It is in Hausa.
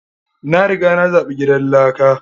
Na riga na zaɓi gidan lakan.